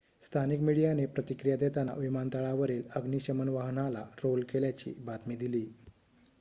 स्थानिक मीडियाने प्रतिक्रिया देताना विमानतळावरील अग्निशमन वाहनाला रोल केल्याची बातमी दिली